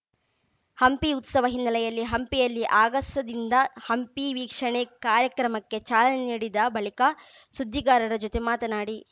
ಹಂಪಿ ಉತ್ಸವ ಹಿನ್ನೆಲೆಯಲ್ಲಿ ಹಂಪಿಯಲ್ಲಿ ಆಗಸದಿಂದ ಹಂಪಿ ವೀಕ್ಷಣೆ ಕಾರ್ಯಕ್ರಮಕ್ಕೆ ಚಾಲನೆ ನೀಡಿದ ಬಳಿಕ ಸುದ್ದಿಗಾರರ ಜೊತೆ ಮಾತನಾಡಿ